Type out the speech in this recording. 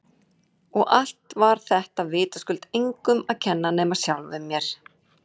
Og allt var þetta vitaskuld engum að kenna nema sjálfum mér!